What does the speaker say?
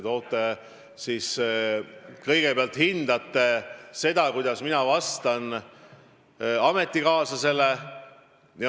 Te kõigepealt hindate seda, kuidas mina vastan teie ametikaaslasele.